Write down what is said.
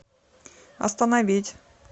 остановить